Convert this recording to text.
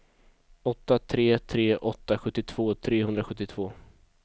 åtta tre tre åtta sjuttiotvå trehundrasjuttiotvå